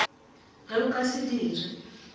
ge o ka se dire